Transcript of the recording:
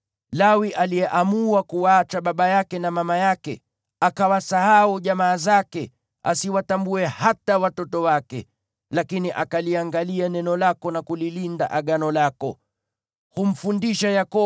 Alinena hivi kuhusu baba yake na mama yake, ‘Mimi siwahitaji kamwe.’ Akawasahau jamaa zake, asiwatambue hata watoto wake, lakini akaliangalia neno lako na kulilinda Agano lako.